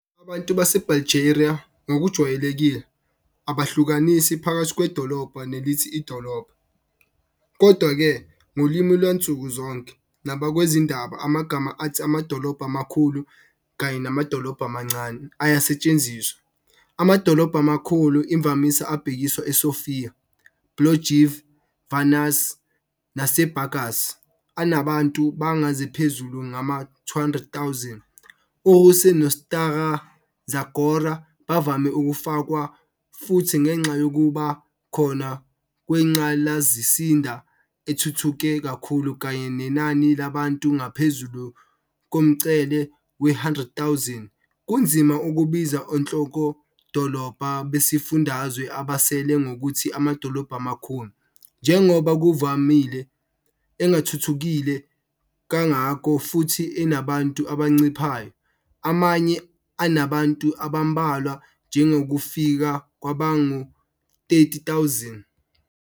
Abantu baseBulgaria, ngokujwayelekile, abahlukanisi phakathi 'kwedolobha' nelithi 'idolobha'. Kodwa-ke, ngolimi lwansuku zonke nakwabezindaba amagama athi "amadolobha amakhulu" kanye "namadolobhana amancane" ayasetshenziswa."Amadolobha amakhulu" imvamisa abhekise eSofia, Plovdiv, Varna naseBurgas, anabantu abangaphezu kwama-200,000. URuse noStara Zagora bavame ukufakwa futhi ngenxa yokuba khona kwengqalasizinda ethuthuke kakhulu kanye nenani labantu ngaphezulu komngcele we-100,000. Kunzima ukubiza onhlokodolobha besifundazwe abasele ngokuthi "amadolobha amakhulu" njengoba, ngokuvamile, engathuthukile kangako futhi enabantu abanciphayo, amanye anabantu abambalwa njengokufika kwabangu-30,000.